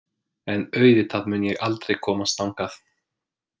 En auðvitað mun ég aldrei komast þangað.